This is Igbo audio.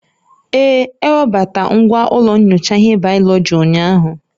Ee, ewebata ngwa ụlọ nyocha ihe bayoloji ụnyahụ